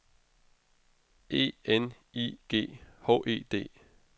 E N I G H E D